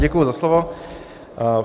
Děkuji za slovo.